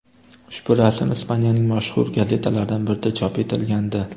Ushbu rasm Ispaniyaning mashhur gazetalaridan birida chop etilgandi.